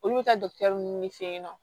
Olu bɛ taa ninnu de fɛ yen nɔ